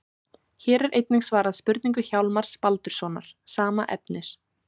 Hér er einnig svarað spurningu Hjálmars Baldurssonar, sama efnis.